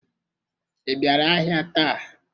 I bịara ahịa taa?